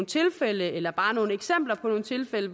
tilfælde eller bare nogle eksempler på tilfælde